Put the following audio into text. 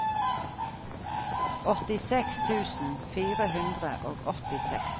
åttiseks tusen fire hundre og åttiseks